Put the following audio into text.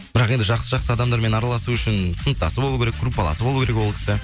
бірақ енді жақсы жақсы адамдармен араласу үшін сыныптасы болу керек группаласы болу керек ол кісі